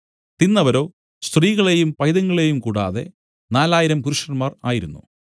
തിന്നവരോ സ്ത്രീകളെയും പൈതങ്ങളെയും കൂടാതെ നാലായിരം പുരുഷന്മാർ ആയിരുന്നു